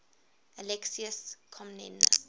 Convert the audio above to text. alexius comnenus